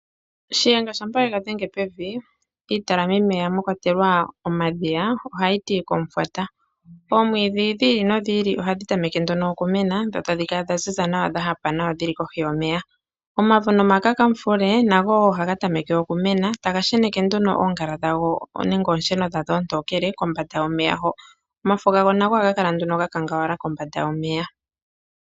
Shiyenga shaNangombe shampa yega dhenga pevi, mwakwatelwa omadhiya ohayi tu komufwata. Oomwiidhi dhili nodhili ohadhi tameke nduno okumena dho tadhi kala dhaziza nawa nodhahapa dhili kohi yomeya. Omavo nomakakamufule nago ohaga tameke okumena, taga sheneke nduno oongala dhadho nenge oonsheno dhadho oontonkele kombanda yomeya ho. Omafo gago nago ohaga kala ga kangalala kombanda yomeya.